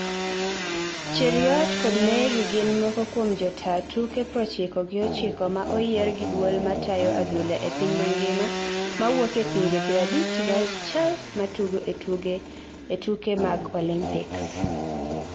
Cheruiyot kod Mary gin moko kuomjotaa tuke proochiko gi ochiko ma oyier gi duol matayo adhula e piny mangima mawuoke pinje pirabich gi achiel matugo e tuke mag olympics